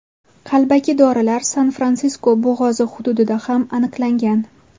Qalbaki dorilar San-Fransisko bo‘g‘ozi hududida ham aniqlangan.